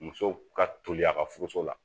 Muso ka toli a ka furuso la